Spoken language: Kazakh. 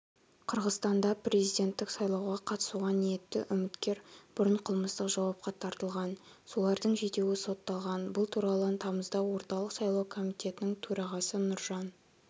қырғызстанда президенттік сайлауға қатысуға ниетті үміткер бұрын қылмыстық жауапқа тартылған солардың жетеуі сотталған бұл туралы тамызда орталық сайлау комитетінің төрағасы нұржан